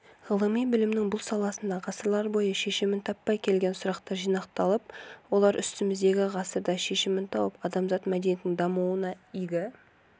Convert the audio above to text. ғылыми білімнің бұл саласында ғасырлар бойы шешімін таппай келген сұрақтар жинақталып олар үстіміздегі ғасырда шешімін тауып адамзат мәдениетінің дамуына игі